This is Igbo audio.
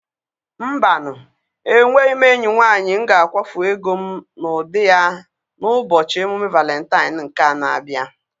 Mba nụ! enweghị m enyi nwanyị m ga-akwafu ego m n'ụdị ya n'ụbọchị emume Valentine nke a na-abịa.